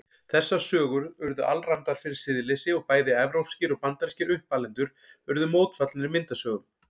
Þessar sögur urðu alræmdar fyrir siðleysi og bæði evrópskir og bandarískir uppalendur urðu mótfallnir myndasögum.